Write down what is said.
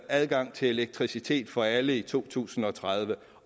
adgang til elektricitet for alle i to tusind og tredive